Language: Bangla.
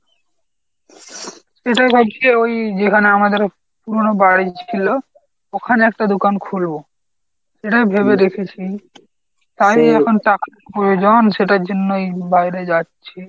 সেটাই ভাবছি ওই যেখানে আমাদের পুরোনো বাড়ি ছিল ওখানে একটা দোকান খুলবো সেটাই ভেবে দেখেছি এখন টাকার প্রয়োজন সেটার জন্যই বাইরে যাচ্ছি।